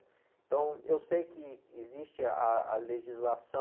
Então, eu sei que existe ah, a legislação,